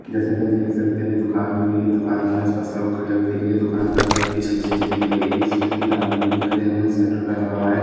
जैसे की हम देख सकते है दूकान दिख रही है दूकान के आसपास लोग खड़े हुए दिख रहे है दूकान पत्रे के छज्जे की दिख रही है जिसमे तीन आदमी दिखरे जिन्होंने स्वेटर पहना हुआ है।